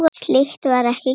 Slíkt var ekki gert.